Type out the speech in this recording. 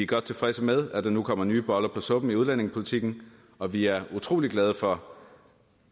godt tilfredse med at der nu kommer nye boller på suppen i udlændingepolitikken og vi er utrolig glade for